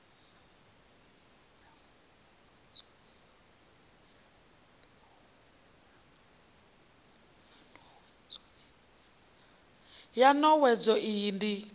ya n owedzo iyi ndi